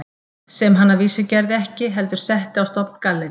Sem hann að vísu gerði ekki, heldur setti á stofn gallerí